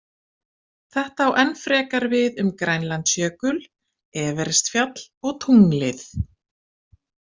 Þetta á enn frekar við um Grænlandsjökul, Everestfjall- og tunglið!